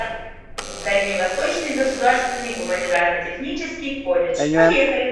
дальневосточный государственный гуманитарно технический колледж поехали